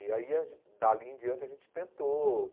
E aí, a gen dali em diante, a gente tentou.